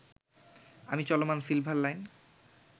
আমি চলমান silver line